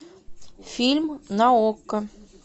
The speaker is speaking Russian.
фильм на окко